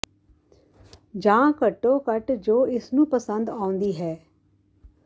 ਜਾਂ ਘੱਟੋ ਘੱਟ ਜੋ ਇਸ ਨੂੰ ਪਸੰਦ ਆਉਂਦੀ ਹੈ